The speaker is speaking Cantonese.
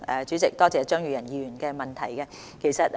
主席，多謝張宇人議員的補充質詢。